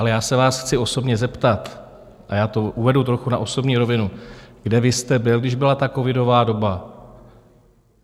Ale já se vás chci osobně zeptat, a já to uvedu trochu na osobní rovinu: Kde vy jste byl, když byla ta covidová doba?